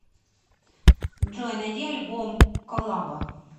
джой найди альбом коллаба